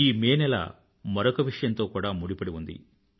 ఈ మే నెల మరొక విషయంతో కుడా ముడిపడి ఉంది